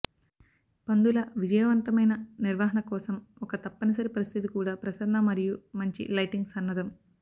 పందుల విజయవంతమైన నిర్వహణ కోసం ఒక తప్పనిసరి పరిస్థితి కూడా ప్రసరణ మరియు మంచి లైటింగ్ సన్నద్ధం